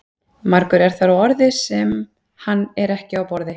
Margur er þar á orði sem hann er ekki á borði.